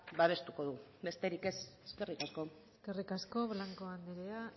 babestuko du besterik ez eskerrik asko eskerrik asko blanco anderea